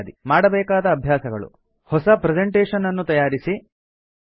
000849 000842 ಮಾಡಬೇಕಾದ ಅಭ್ಯಾಸಗಳು ಹೊಸ ಪ್ರೆಸೆಂಟೇಷನ್ ಅನ್ನು ತಯಾರಿಸಿ